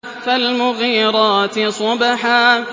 فَالْمُغِيرَاتِ صُبْحًا